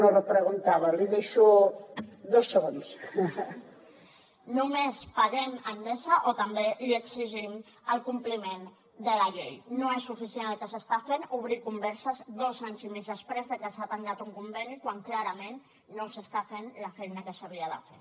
només paguem a endesa o també li exigim el compliment de la llei no és suficient el que s’està fent obrir converses dos anys i mig després de que s’ha tancat un conveni quan clarament no s’està fent la feina que s’havia de fer